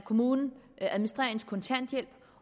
kommunen administrerer ens kontanthjælp